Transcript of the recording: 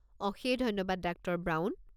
অশেষ ধন্যবাদ, doctor brown.